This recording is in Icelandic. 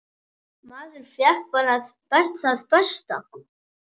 Maður fékk bara það besta.